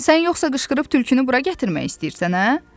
Sən yoxsa qışqırıb tülkünü bura gətirmək istəyirsən, hə?